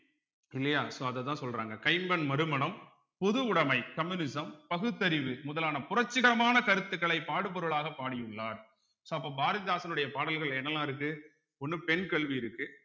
இல்லையா so அதத்தான் சொல்றாங்க கைம்பெண் மறுமணம் பொதுவுடைமை communism பகுத்தறிவு முதலான புரட்சிகரமான கருத்துக்களை பாடுபொருளாக பாடியுள்ளார் so அப்ப பாரதிதாசனுடைய பாடல்கள் என்னெல்லாம் இருக்கு ஒண்ணு பெண் கல்வி இருக்கு